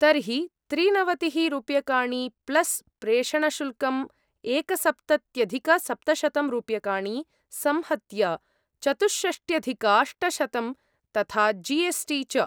तर्हि त्रिनवतिः रूप्यकाणि प्लस् प्रेषणशुल्कं एकसप्तत्यधिकसप्तशतं रूप्यकाणि, संहत्य चतुष्षष्ट्यधिकाष्टशतं, तथा जी एस् टी च।